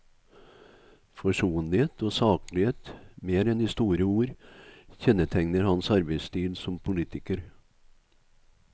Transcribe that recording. Forsonlighet og saklighet mer enn de store ord kjennetegner hans arbeidsstil som politiker.